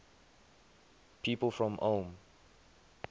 people from ulm